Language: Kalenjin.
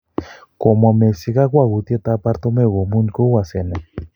Komwa Messi kogwoutiet ap Bartomeu komuny kou asenet.